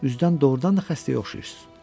Üzdən doğrudan da xəstəyə oxşayırsız.